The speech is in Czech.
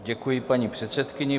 Děkuji paní předsedkyni.